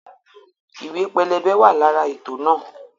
Ìwé pẹlẹbẹ wa lára ètò náà